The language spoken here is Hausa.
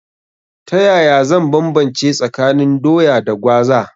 Ta yaya zan banbance tsakanin Doya da Gwaza?